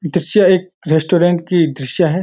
दृश्य एक रेस्टोरेंट की दृश्य है।